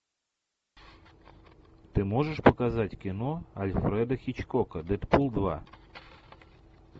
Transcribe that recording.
ты можешь показать кино альфреда хичкока дэдпул два